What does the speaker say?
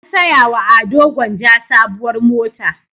An saya wa Ado Gwanja sabuwar mota.